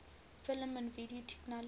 film and video technology